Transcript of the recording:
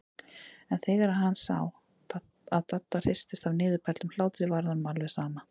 En þegar hann sá að Dadda hristist af niðurbældum hlátri varð honum alveg sama.